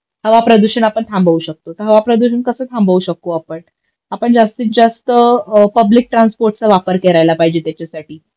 हवाप्रदूषण आपण थांबवू शकतो तर हवाप्रदूषण कस थांबवू शकु आपण आपण जास्तीतजास्त अ पब्लिक ट्रान्स्पोर्टचा वापर करायला पाहिजे त्याच्यासाठी